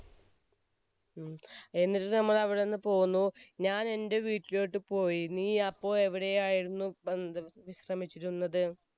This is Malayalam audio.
ഉം. എന്നിട്ട് നമ്മൾ അവിടെ നിന്നും പോന്നു, ഞാൻ എന്റെ വീട്ടിലേക്ക് പോയി, നീ അപ്പോൾ എവിടെയായിരുന്നു കിടന്ന~വിശ്രമിച്ചിരുന്നത്?